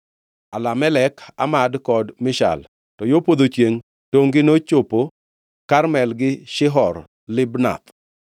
Alamelek, Amad kod Mishal. To yo podho chiengʼ, tongʼ-gi nochopo Karmel gi Shihor Libnath.